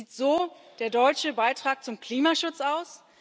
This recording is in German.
Sieht so der deutsche Beitrag zum Klimaschutz aus?